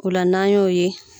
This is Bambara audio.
Ola na y'o ye.